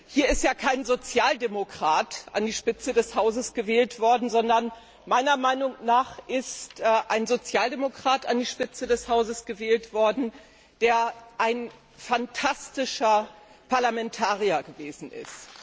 Hier ist ja kein Sozialdemokrat an die Spitze des Hauses gewählt worden, sondern meiner Meinung nach ist ein Sozialdemokrat an die Spitze des Hauses gewählt worden, der ein phantastischer Parlamentarier gewesen ist.